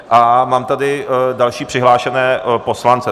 A mám tady další přihlášené poslance.